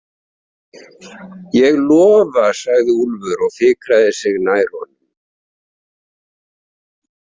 Ég lofa, sagði Úlfur og fikraði sig nær honum.